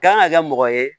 Kan ka kɛ mɔgɔ ye